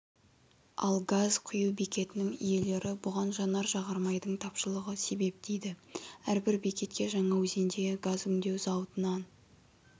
ал газ құю бекетінің иелері бұған жанар-жағармайдың тапшылығы себеп дейді әрбір бекетке жаңаөзендегі газ өңдеу зауытынан